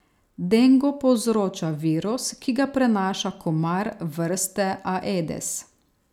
Dengo povzroča virus, ki ga prenaša komar vrste aedes.